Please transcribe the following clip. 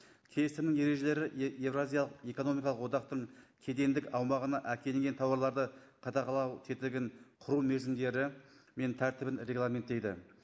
келісімнің ережелері еуразиялық экономикалық одақтың кедендік аумағына әкелінген тауарларды қадағалау тетігін құру мерзімдері мен тәртібін регламенттейді